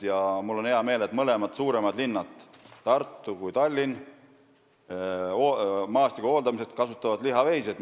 Ja mul on hea meel, et mõlemad suuremad linnad, nii Tartu kui ka Tallinn, kasutavad maastiku hooldamiseks lihaveiseid.